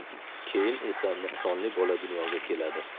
Keyin esa, nuqsonli bola dunyoga keladi.